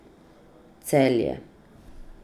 Celje.